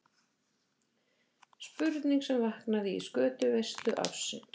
Spurning sem vaknaði í skötuveislu ársins.